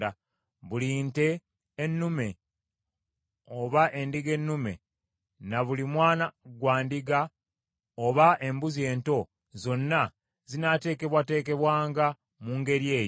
Buli nte ennume oba endiga ennume, na buli mwana gwa ndiga oba embuzi ento, zonna zinaateekebwateekebwanga mu ngeri eyo.